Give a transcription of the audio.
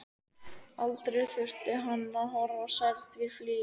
Aldrei þurfti hann að horfa á særð dýr flýja.